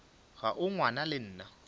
ga o ngwana le nna